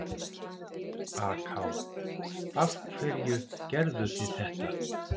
AK: Af hverju gerðuð þið þetta?